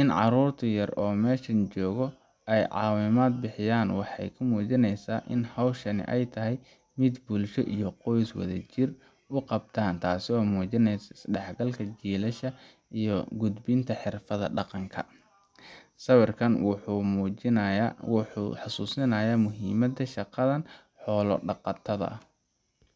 in carurtu yar mesha joga ee cawimaad bixiyan waxee ka mujineysaa in howshan ee tahay miid bulsha iyo qoys wala jir u qabta taso mujineysa isdaxgalka iyo gudbinta xirfaad daqanka, sawirkan wuxuu mujinayaa wuxuu xasusinaya muhiimaada shaqaada xola daqatadha ah.